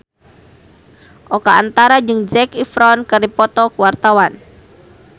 Oka Antara jeung Zac Efron keur dipoto ku wartawan